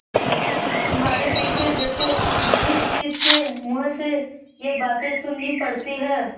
तुम्हारे पीछे देखो किसकिसके मुँह से ये बातें सुननी पड़ती हैं